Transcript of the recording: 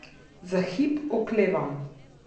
Za hip oklevam.